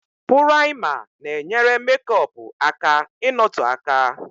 Pụraima na-enyere mekọpu aka ị nọtoo aka